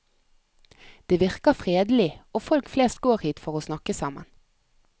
Det virker fredelig, og folk flest går hit for å snakke sammen.